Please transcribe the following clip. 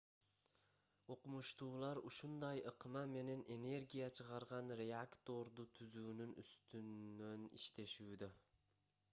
окумуштуулар ушундай ыкма менен энергия чыгарган реакторду түзүүнүн үстүнөн иштешүүдө